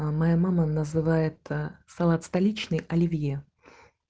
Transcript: а моя мама называется салат столичный оливье